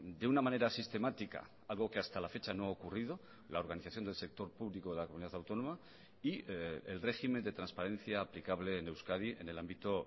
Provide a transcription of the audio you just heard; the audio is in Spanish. de una manera sistemática algo que hasta la fecha no ha ocurrido la organización del sector público de la comunidad autónoma y el régimen de transparencia aplicable en euskadi en el ámbito